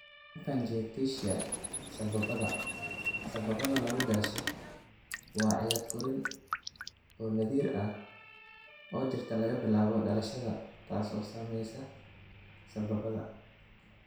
lymphangiectasia sambabada sambabada lagu dhasho waa cillad korriin oo naadir ah oo jirta laga bilaabo dhalashada taas oo saamaysa sambabada.